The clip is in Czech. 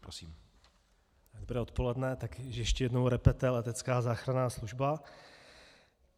Dobré odpoledne, tak ještě jednou repete letecká záchranná služba.